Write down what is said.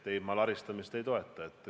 Ei, ma laristamist ei toeta.